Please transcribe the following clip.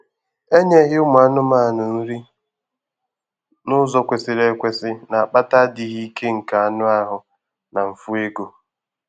Enyeghị ụmụ anụmanụ nri n'ụzọ kwesịrị ekwesị na-akpata adịghị ike nke anụ ahụ na mfu ego